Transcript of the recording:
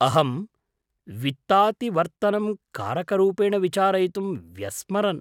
अहं वित्तातिवर्तनं कारकरूपेण विचारयितुम् व्यस्मरम्।